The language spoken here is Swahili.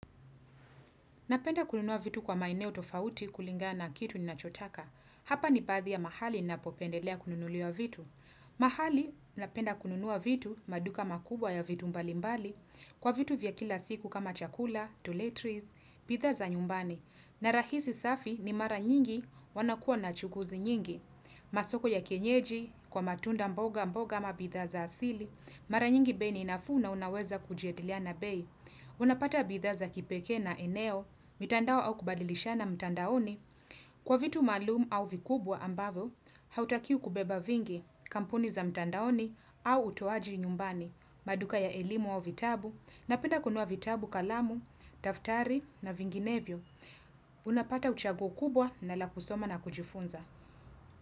Napenda kununua vitu kwa maeneo tofauti kulingana na kitu ninachotaka. Hapa ni baadhi ya mahali ninapopendelea kununuliwa vitu. Mahali, napenda kununua vitu maduka makubwa ya vitu mbalimbali, kwa vitu vya kila siku kama chakula, tuletries, bidhaa za nyumbani, na rahisi safi ni mara nyingi wanakuwa na chukuzi nyingi. Masoko ya kienyeji, kwa matunda mboga mboga ama bidhaza asili, mara nyingi bei ni nafuu na unaweza kujadiliana bei. Unapata bidhaa za kipekee na eneo, mitandao au kubadilishana mitandaoni Kwa vitu maalumu au vikubwa ambavyo, hautakiwi kubeba vingi, kampuni za mitandaoni au utoaji nyumbani maduka ya elimu au vitabu, napenda kunua vitabu kalamu, daftari na vinginevyo Unapata uchaguo kubwa na la kusoma na kujifunza.